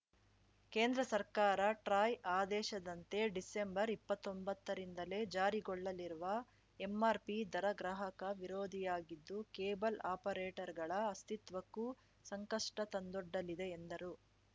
ಕೇಂದ್ರ ಸರ್ಕಾರ ಟ್ರಾಯ್‌ ಆದೇಶದಂತೆ ಡಿಸೆಂಬರ್ ಇಪ್ಪತ್ತೊಂಬತ್ತರಿಂದಲೇ ಜಾರಿಗೊಳ್ಳಲಿರುವ ಎಂಆರ್‌ಪಿ ದರ ಗ್ರಾಹಕ ವಿರೋಧಿಯಾಗಿದ್ದು ಕೇಬಲ್‌ ಆಪರೇಟರ್‌ಗಳ ಅಸ್ತಿತ್ವಕ್ಕೂ ಸಂಕಷ್ಟತಂದೊಡ್ಡಲಿದೆ ಎಂದರು